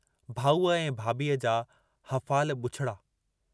भाऊअ ऐं भाभीअ जा हफ़ाल बुछड़ा।